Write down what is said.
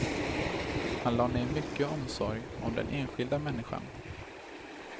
Han lade ned mycket omsorg om den enskilda människan.